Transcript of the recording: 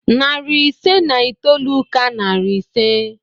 Narị ise na itoolu ka narị ise.